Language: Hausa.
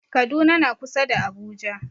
Kaduna na kusa da Abuja.